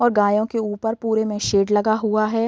और गायो के ऊपर पुरे में शेड लगा हुआ है।